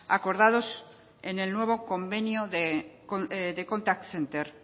acordados en el nuevo convenio de contact center